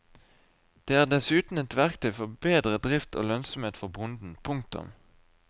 Det er dessuten et verktøy for bedre drift og lønnsomhet for bonden. punktum